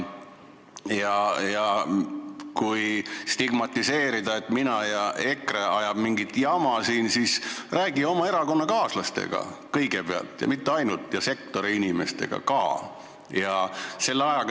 Ja kui sa stigmatiseerid, et mina ja EKRE ajame mingit jama, siis räägi kõigepealt oma erakonnakaaslastega ja mitte ainult, sektoriinimestega samuti.